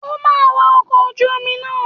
O máa wa ọkọ̀ ojú omi náà!